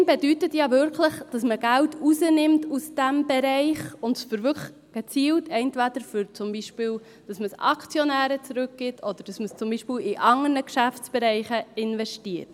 Gewinn bedeutet ja wirklich, dass man Geld aus diesem Bereich herausnimmt und es gezielt zum Beispiel Aktionären zurückgibt oder in andere Geschäftsbereiche investiert.